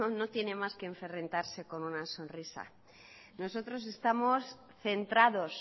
no tiene más que enfrentarse con una sonrisa nosotros estamos centrados